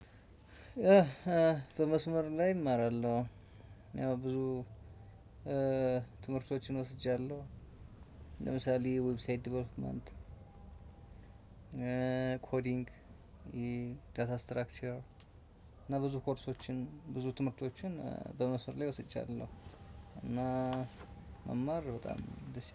በመስመር ላይ እማራለሁ። ያው ብዙ ትምህርቶችን ወስጃለሁ። ለምሳሌ ዌብሳይት ዴቨሎፕመንት ኮዲንግ ዳታ ስትራክቸር። እና ብዙ ኮርሶችን ብዙ ትምህርቶችን በመስር ላይ ወስጃለሁ። እና መማር በጣም ደስ